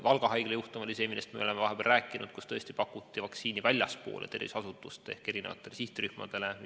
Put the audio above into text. Valga Haigla juhtum oli see, millest me oleme vahepeal rääkinud, kus pakuti vaktsiini väljapoole terviseasutust ehk teistele sihtrühmadele.